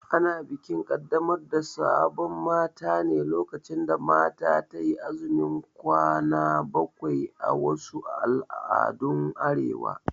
Ana bikin Kaddamar da sabon mata ne lokacin da mata tayi azumin kwana bakwai a wasu al'adun Arewa